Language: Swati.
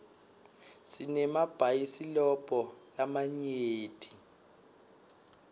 sinemabhayisilobho lamanyenti